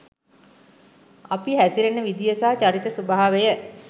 අපි හැසිරෙන විදිය සහ චරිත ස්වභාවය